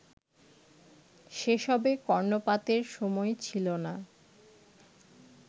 সেসবে কর্ণপাতের সময় ছিল না